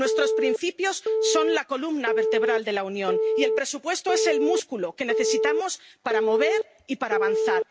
Nuestros principios son la columna vertebral de la Unión y el presupuesto es el músculo que necesitamos para movernos y para avanzar.